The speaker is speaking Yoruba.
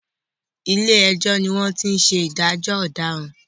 Ilé ẹjọ́ ni wọ́n ti ń ṣe ìdájọ́ ọ̀dàràn.